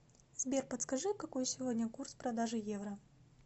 сбер подскажи какой сегодня курс продажи евро